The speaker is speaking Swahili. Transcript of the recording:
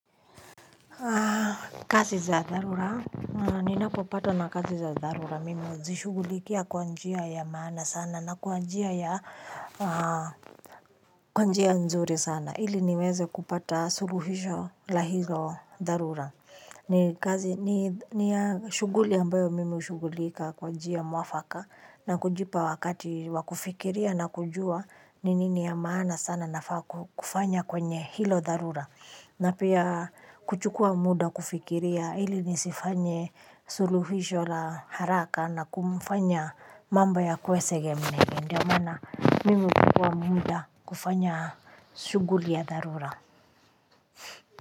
Kazi za dharura ni napopatwa na kazi za dharura mimi huzishughulikia kwanjia ya maana sana na kwanjia ya kwanjia nzuri sana ili niweze kupata suluhisho la hilo dharura ni kazi ni ya shughuli ambayo mimi hushughulika kwanjia mwafaka na kujipa wakati wakufikiria na kujua ni nini ya maana sana nafaa kufanya kwenye hilo dharura. Na pia kuchukua muda kufikiria ili nisifanye suluhisho la haraka na kumfanya mambo yakuwe sege mnege. Ndiyo maana mimi huchukua muda kufanya shughuli ya dharura.